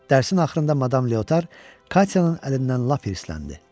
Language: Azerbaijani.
Dərsin axırında Madam Leotar Katyanın əlindən lap hirsləndi.